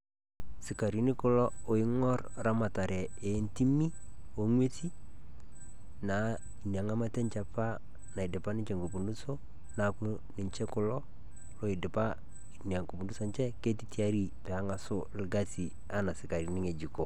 Sikarini kuloo oing'orr ramatare eetimi onkwesi, naa nia ng'amata enchee apaa naidipa ninchee mafunso. Naa ninchee kulo loidipa ninchee enia mafundiso enchee. Ketii tiaari pee ang'aso lkasi ana sikarini yejuko.